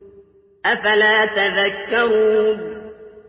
أَفَلَا تَذَكَّرُونَ